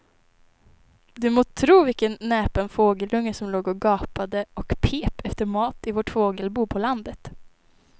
Du må tro vilken näpen fågelunge som låg och gapade och pep efter mat i vårt fågelbo på landet.